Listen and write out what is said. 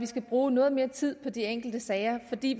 skal bruge noget mere tid på de enkelte sager fordi